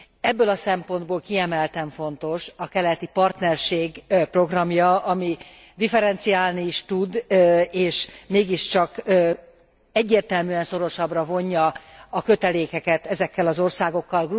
Ebből a szempontból kiemelten fontos a keleti partnerség programja, ami differenciálni is tud és mégiscsak egyértelműen szorosabbra vonja a kötelékeket ezekkel az országokkal.